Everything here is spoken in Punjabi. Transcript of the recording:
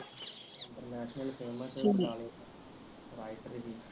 ਇੰਟਰਨੈਸ਼ਨਲ ਫਿਲਮ ਤੇ ਨਾਲੋ ਰਾਇਪੁਰ ਵੀ